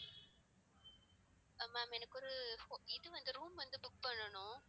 அஹ் ma'am எனக்கு ஒரு இது வந்து room வந்து book பண்ணனும்